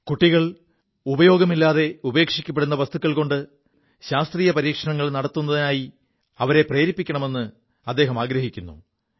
കുികൾ ഉപയോഗമില്ലാതെ ഉപേക്ഷിക്കു വസ്തുക്കൾകൊണ്ട് ശാസ്ത്രീയ പരീക്ഷണങ്ങൾ നടത്തുതിലേക്ക് പ്രേരിപ്പിക്കാൻ അദ്ദേഹം ശ്രമിക്കുു